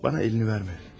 Mənə əlini vermə.